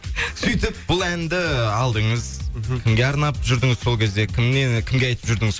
сөйтіп бұл әнді алдыңыз мхм кімге арнап жүрдіңіз сол кезде кімге айтып жүрдіңіз